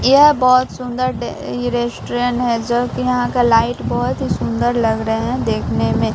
यह बहुत सुंदर ये रेस्टोरेंट है जो कि यहां का लाइट बहुत ही सुंदर लग रहे हैं देखने में।